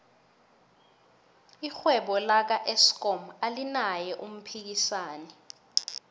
irhwebo laka eskom alinaye umphikisani